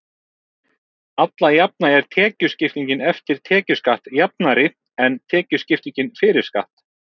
alla jafna er tekjuskiptingin „eftir tekjuskatt“ jafnari en tekjuskipting „fyrir skatt“